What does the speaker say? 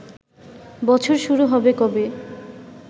বছর শুরু হবে কবে